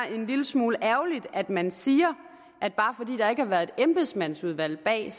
en lille smule ærgerligt at man siger at bare fordi der ikke har været et embedsmandsudvalg bag